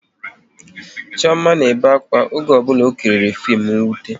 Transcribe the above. Chioma na-ebe akwa oge ọ bụla ọ kiriri fim nwute